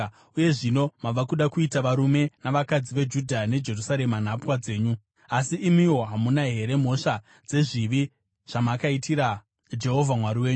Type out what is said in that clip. Uye zvino mava kuda kuita varume navakadzi veJudha neJerusarema nhapwa dzenyu. Asi imiwo hamuna here mhosva dzezvivi zvamakaitira Jehovha Mwari wenyu?